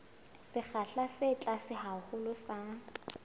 sekgahla se tlase haholo sa